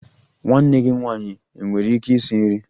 Nwanne gị nwanyị enwere ike isi nri?